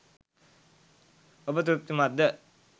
ඔබ තෘප්තිමත්ද?